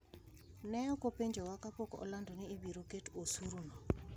"Ne ok openjowa kapok olando ni ibiro ket osuru no.